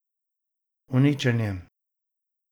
Uničenje.